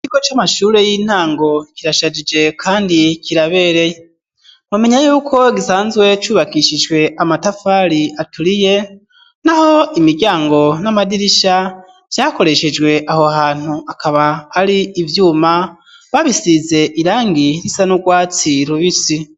Ikigo c'amashuri y'intango kirashajije kandi kirabereye womenya yuko gisanzwe cubakishijwe amatafari aturiye naho imiryango n'amadirisha vyakoreshejwe aho hantu bikaba ari ivyuma babisize irangi risa n'urwatsi rubisi